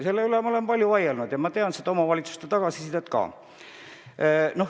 Selle üle ma olen palju vaielnud ja ma tean seda omavalitsuste tagasisidet ka.